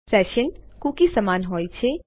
session cookies સમાન હોય છે